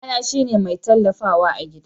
Ubana shi ne mai tallafawa gida.